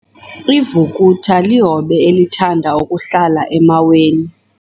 Ivukuthu lihobe elithanda ukuhlala emaweni.